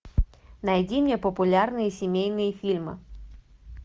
найди мне популярные семейные фильмы